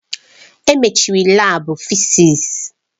Emechiri laabu fịzịs.